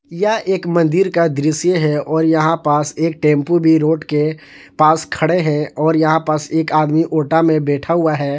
यह एक मंदिर का दृश्य है और यहां पास एक टेंपो भी रोड के पास खड़े हैं और यहां पास एक आदमी ओटा में बैठा हुआ है।